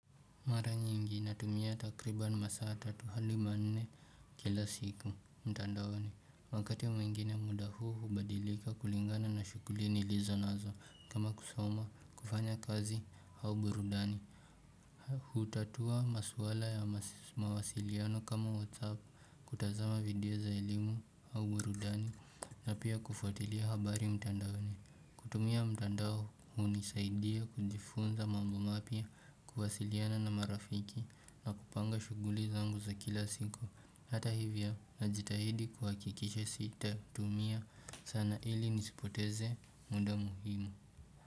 Mara nyingi natumia takribani masaa tatu au manne kila siku mtandaoni. Wakati mwingine muda huu hubadilika kulingana na shughuli nilizo nazo kama kusoma, kufanya kazi au burudani hutatua maswala ya mawasiliano kama whatsapp kutazama video za elimu au burudani na pia kufwatilia habari mtandaoni. Kutumia mtandao hunisaidia kujifunza mambo mapya kuwasiliana na marafiki na kupanga shughuli zangu za kila siku. Hata hivyo najitahidi kuhakikisha sitatumia sana ili nisipoteze muda muhimu.